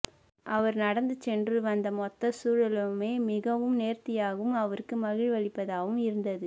அவர் நடந்து சென்று வந்த மொத்த சூழலுமே மிகவும் நேர்த்தியாகவும் அவருக்கு மகிழ்வளிப்பதாவும் இருந்தது